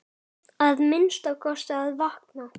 Að minnsta kosti að vakna.